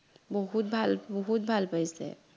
বহুত ভাল বহুত ভাল পাইছে